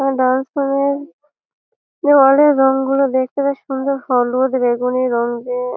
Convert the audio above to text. dance bar -এর দেওয়ালের এর রং গুলো দেখতে বেশ সুন্দর হলুদ বেগুনি রঙ্গ--